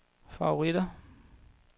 favoritter